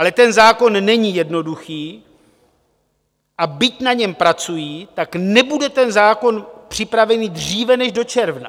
Ale ten zákon není jednoduchý, a byť na něm pracují, tak nebude ten zákon připraven dříve než do června.